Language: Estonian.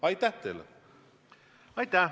Aitäh!